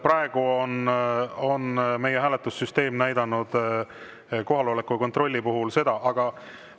Praegu on meie hääletussüsteem näidanud kohaloleku kontrolli puhul seda.